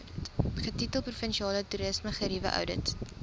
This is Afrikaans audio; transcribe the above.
getitel provinsiale toerismegerieweoudit